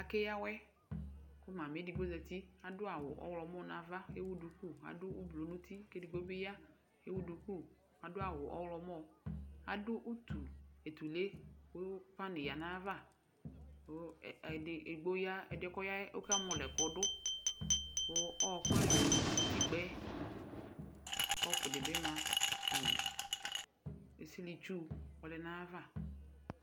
Akeyǝ awɛ, kʋ mami edigbo zǝti Adu awu ɔɣlɔmɔ nʋ ava, ewu duku, kʋ adu ʋblʋ nʋ uti; kʋ edigbo bɩ ya kʋ ewu duku, adu awu ɔɣlɔmɔ Adu utuetule kʋ pani yǝ nʋ ayava, kʋ edgbo ya, ɛdɩɛ kʋ ɔya yɛ ɔkamɔlɔ ɛkʋ dʋ Kʋ ɔɔkʋ ɛlʋ ɛlʋ ma nʋ utikpǝ yɛ Kɔpʋ dɩ bɩ ma Esilitsu ɔlɛ nʋ ayava